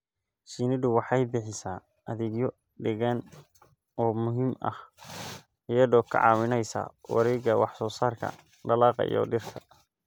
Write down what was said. Shinnidu waxay bixisaa adeegyo deegaan oo muhiim ah iyadoo ka caawinaysa wareegga wax soo saarka dalagga iyo dhirta.